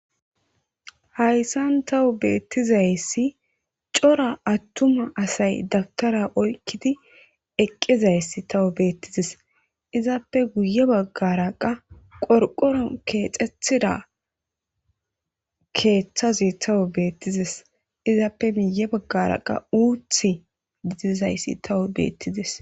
Hayssan tawu bethizaysi cora aththuma assayi dabtara oykidi eqizayssi tawu bethizess. Izzappe guyye baggara qa qorqon kexethidi kethazi tawu bethizess izzappe guye bagara itti dizayssi bethizess.